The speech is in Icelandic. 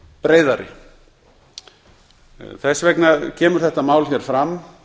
breiðari þess vegna kemur þetta mál hér fram